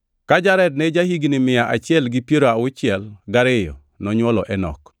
Ka Jared ne ja-higni mia achiel gi piero auchiel gariyo, nonywolo Enok.